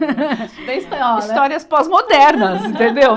Histórias pós-modernas, entendeu?